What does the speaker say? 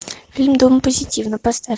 фильм дом позитива поставь